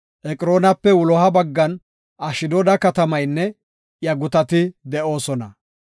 Eqroonape wuloha baggan Ashdooda katamaynne iya gutati de7oosona.